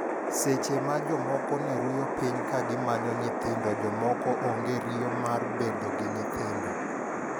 Seche ma jok moko ne ruyo piny ka gi manyo nyithindo jok moko onge riyo mar bedo gi nyithindo.